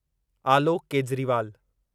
Alok Kejriwal